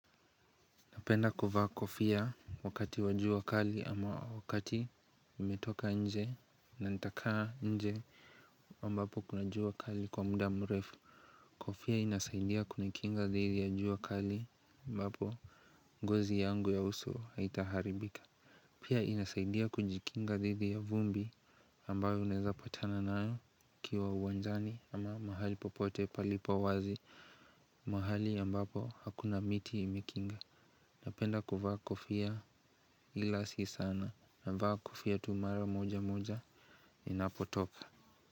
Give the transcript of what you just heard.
Napenda kuvaa kofia wakati wa jua kali ama wakati nimetoka nje na nitakaa nje mbapo kunajua kali kwa muda mrefu. Kofia inasaidia kunikinga dhidi ya jua kali ambapo ngozi yangu ya uso haitaharibika. Pia inasaidia kujikinga dhidi ya vumbi ambayo unaweza patana nayo ukiwa uwanjani ama mahali popote palipo wazi mahali ambapo hakuna miti imekinga. Napenda kuvaa kofia ila si sana navaa kofia tu mara moja moja ninapotoka.